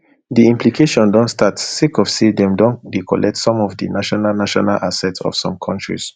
di implication don start sake of say dem don dey collect some of di national national assets of some kontris